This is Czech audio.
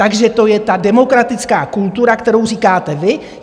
Takže to je ta demokratická kultura, kterou říkáte vy.